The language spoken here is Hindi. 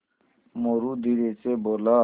मोरू धीरे से बोला